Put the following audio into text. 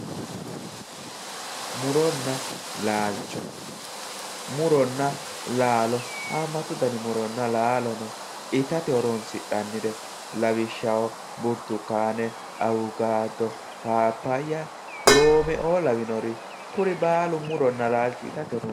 Muronna laalicho, muronna laalo haamatu danni muronna laalo no, itate horonsi'nannire lawishshaho buritukkane awukado, phaphaya loomeo lawinore kuri baallu muro itate horonsi'neemmoreti